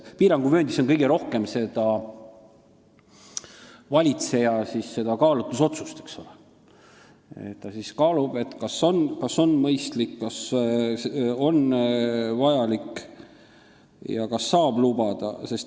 Piiranguvööndi puhul on kõige rohkem valitseja kaalutlusotsust, ta kaalub, kas see on mõistlik, kas on vajalik ja kas saab seda lubada.